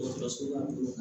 Dɔgɔtɔrɔso la